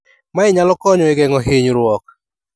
Mae nyalo konyo e geng'o hinyruok.